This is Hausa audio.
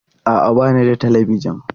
A'a, ba ni da Talabijin.